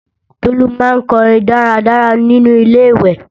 Tolu máa ń kọrin dára dára nínu Ilé-ìwẹ̀